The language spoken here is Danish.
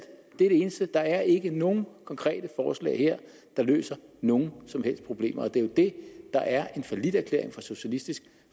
det eneste der er ikke nogen konkrete forslag her der løser nogen som helst problemer og det er jo det der er en falliterklæring fra socialistisk